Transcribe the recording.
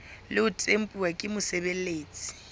le ho tempuwa ke mosebeletsi